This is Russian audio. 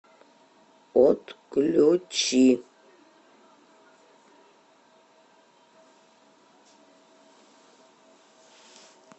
отключи